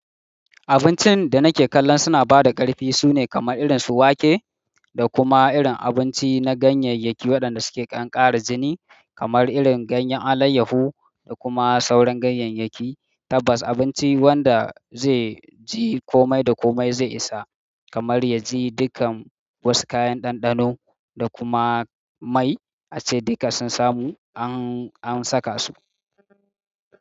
Abincin da nake kallon suna bada ƙarfi sune kamar irin su wake da kuma irin abinci na ganyayyaki waɗanda suke danƙara jini, kamar irin ganyen alayyahu da kuma sauran ganyayyaki. Tabbas abinci wanda zai ji komai da komai zai isa, kamar yaji dukan wasu kayan ɗanɗano da kuma mai ace duka sun samu an, an saka su.